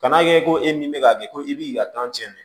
Kan'a kɛ ko e min bɛ k'a kɛ ko i b'i ka cɛn dɛ